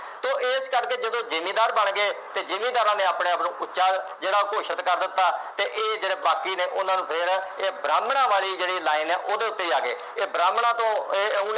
ਇਸ ਕਰਕੇ ਜਦੋਂ ਜਿਮੀਦਾਰ ਬਣ ਗਏ ਅਤੇ ਜਿਮੀਦਾਰਾਂ ਨੇ ਆਪਣੇ ਆਪ ਨੂੰ ਉੱਚਾ ਜਿਹੜਾ ਘੋਸ਼ਿਤ ਕਰ ਦਿੱਤਾ ਅਤੇ ਇਹ ਜਿਹੜੇ ਬਾਗੀ ਨੇ ਉਹਨਾ ਨੂੰ ਫੇਰ ਇਹ ਬ੍ਰਾਹਮਣਾਂ ਵਾਲੀ ਜਿਹੜੀ ਲਾਈਨ ਹੈ ਉਹਦੇ ਉੱਤੇ ਆ ਗਏ, ਇਹ ਬ੍ਰਾਹਮਣਾਂ ਤੋਂ ਇਹ